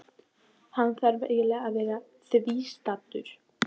Álfarnir hefni sín grimmilega á hverjum þeim sem það geri.